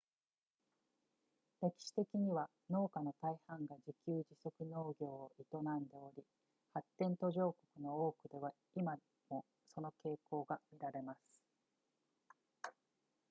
歴史的には農家の大半が自給自足農業を営んでおり発展途上国の多くでは今もその傾向が見られます